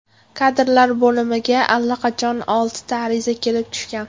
Kadrlar bo‘limiga allaqachon oltita ariza kelib tushgan.